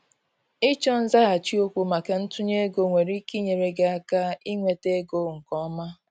ịchọ nzaghachi okwu maka ntunye ego nwere ike inyere gị aka inweta ego nke ọma.